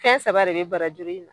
Fɛn saba de be barajur in na.